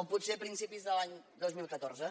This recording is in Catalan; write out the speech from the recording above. o potser a principis de l’any dos mil catorze